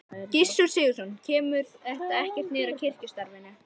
Gissur Sigurðsson: Kemur þetta ekkert niður á kirkjustarfinu?